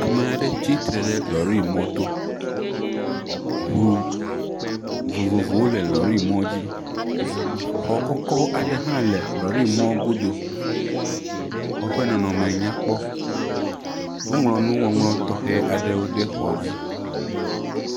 Ame aɖe tsi tre ɖe lɔrimɔ to. Ŋu vovovowo le lɔrimɔ dzi. Xɔ kɔkɔ aɖe hã le lɔrimɔ godo. Xɔ ƒe nɔnɔme nyakpɔ. Woŋlɔ nuŋɔŋlɔ tɔxɛ aɖe ɖe xɔa dzi.